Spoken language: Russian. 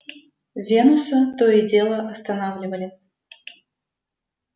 венуса то и дело останавливали